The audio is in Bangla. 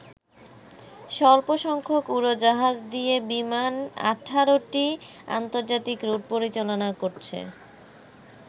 স্বল্প সংখ্যক উড়োজাহাজ দিয়ে বিমান ১৮টি আন্তর্জাতিক রুট পরিচালনা করছে।